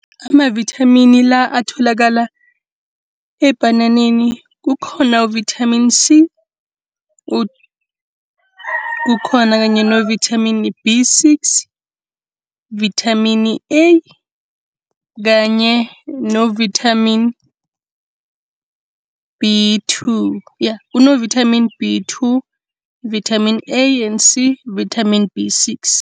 Amavithamini la atholakala ebhananeni kukhona uvithamini C, kukhona kanye novithamini B six, vithamini A kanye novithamini B two, ya kunovithamini B two, vithamini A and C, vithamini B six.